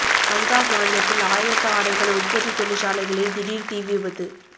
பஞ்சாப் மாநிலத்தில் ஆயத்த ஆடைகள் உற்பத்தி தொழிற்சாலைகளில் திடீர் தீ விபத்து